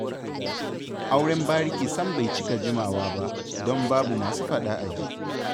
Auren bariki sam bai cika jimawa ba, don babu masu faɗa aji.